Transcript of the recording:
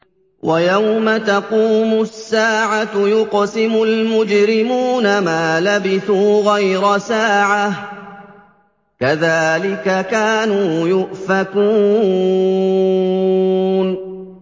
وَيَوْمَ تَقُومُ السَّاعَةُ يُقْسِمُ الْمُجْرِمُونَ مَا لَبِثُوا غَيْرَ سَاعَةٍ ۚ كَذَٰلِكَ كَانُوا يُؤْفَكُونَ